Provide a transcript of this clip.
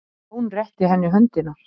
Jón rétti henni höndina.